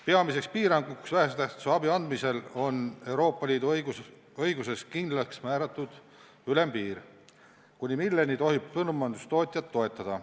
Peamine piirang vähese tähtsusega abi andmisel on Euroopa Liidu õiguses kindlaksmääratud ülempiir, kuni milleni tohib põllumajandustootjat toetada.